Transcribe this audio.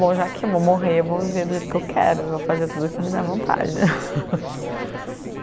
Bom, já que eu vou morrer, eu vou viver do jeito que eu quero, eu vou fazer tudo o que me der vontade.